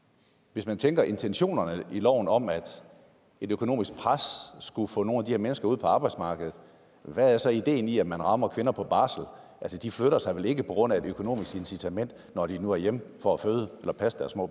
hvis man tænker på intentionerne i loven om at et økonomisk pres skulle få nogle af de her mennesker ud på arbejdsmarkedet hvad er så ideen i at man rammer kvinder på barsel altså de flytter sig vel ikke på grund af et økonomisk incitament når de nu er hjemme for at føde eller passe deres små